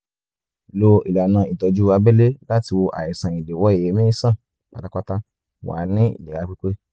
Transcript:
lo ìlànà ìtọ́jú abẹ́lé láti wo àìsàn ìdíwọ́ èémí sàn pátápátá wà ní ìlera pípé